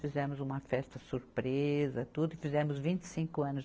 Fizemos uma festa surpresa, tudo, e fizemos vinte e cinco anos